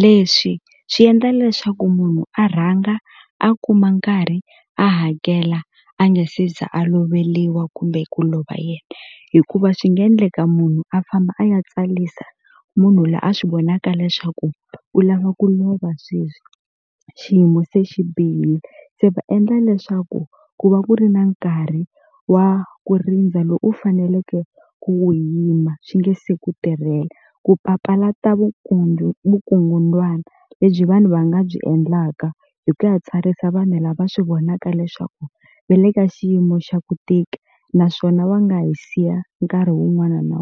leswi swi endla leswaku munhu a rhanga a kuma nkarhi a hakela a nge se za a loveliwa kumbe ku lova yena hikuva swi nga endleka munhu a famba a ya tsalisa munhu la a swi vonaka leswaku u lava ku lova sweswi xiyimo se xi bihile se va endla leswaku ku va ku ri na nkarhi wa ku rindza lo u faneleke ku wu yima swi nge se ku tirhela ku papalata vukungundzwana lebyi vanhu va nga byi endlaka hi ku ya tsarisa vanhu lava swi vonaka leswaku ve le ka xiyimo xa ku tika naswona va nga hi siya nkarhi wun'wana na .